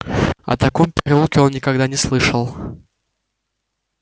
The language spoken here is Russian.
о таком переулке он никогда не слышал